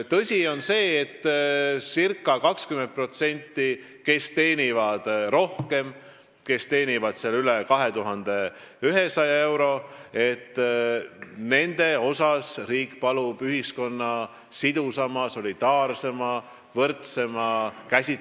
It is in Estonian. Tõsi, circa 20% puhul, kes teenivad rohkem, täpsemalt üle 2100 euro, palub riik panustamist ühiskonna sidususe, solidaarsuse ja võrdsuse kasvu.